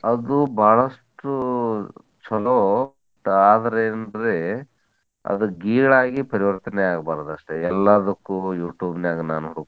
ಅದು ಬಾಳಷ್ಟು ಚಲೋ ಆದ್ರೇನ್ರೀ ಅದ್ ಗೀಳಾಗಿ ಪರಿವರ್ತನೆ ಆಗ್ಬಾರ್ದ ಅಷ್ಟ್. ಎಲ್ಲಾದಕ್ಕೂ Youtube ನ್ಯಾಗ್ ನಾನ್ ಹುಡುಕ್ತೇನಿ.